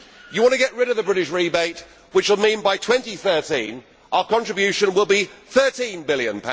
You want to get rid of the British rebate, which will mean by 2013, our contribution will be GBP 13 billion.